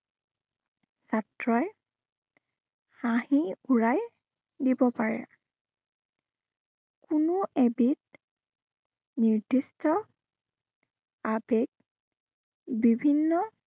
ছাত্ৰই হাঁহি উৰাই, দিব পাৰে। কোনো এবিধ নিৰ্দিষ্ট আবেগ বিভিন্ন